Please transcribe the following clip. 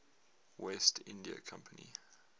west india company